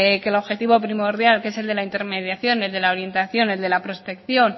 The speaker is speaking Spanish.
que el objetivo primordial que es de la intermediación el de la orientación el de la prospección